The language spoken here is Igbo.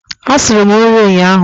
Asuru m nri ụnyaahụ.